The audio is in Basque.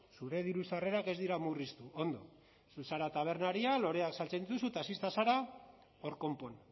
zure diru sarrerak ez dira murriztu ondo zu zara tabernaria loreak saltzen dituzu taxista zara hor konpon